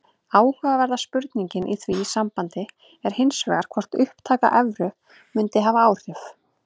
Áhugaverða spurningin í því sambandi er hins vegar hvort upptaka evru mundi hafa áhrif.